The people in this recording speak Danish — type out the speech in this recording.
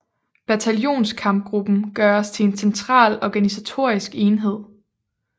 Bataljonskampgruppen gøres til en central organisatorisk enhed